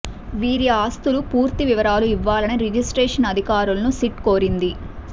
వీరి ఆస్తుల పూర్తి వివరాలు ఇవ్వాలని రిజిస్ట్రేషన్ అధికారులను సిట్ కోరింది